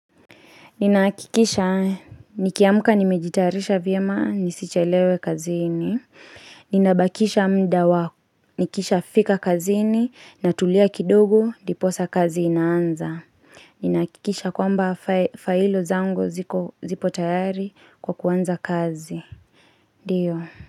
Ninakikisha, nikiamka nimejitarisha vyema nisichelewe kazini, ninabakisha muda wa, nikishafika kazini, natulia kidogo diposa kazi inaanza. Ninakikisha kwamba failo zangu zipo tayari kwa kuwanza kazi. Ndio.